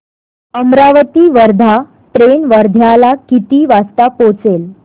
Amravati Wardha train वर्ध्याला किती वाजता पोहचेल